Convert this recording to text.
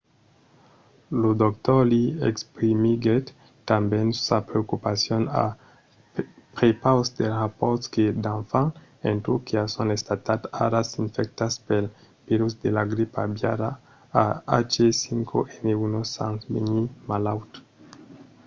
lo dr. lee exprimiguèt tanben sa preocupacion a prepaus dels rapòrts que d'enfants en turquia son estats ara infectats pel virus de la gripa aviària ah5n1 sens venir malauts